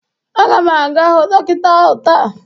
Aga m aga hụ dọkịta ahụ taa.